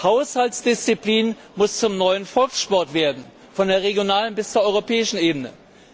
Haushaltsdisziplin muss zum neuen Volkssport werden, von der regionalen bis zur europäischen Ebene.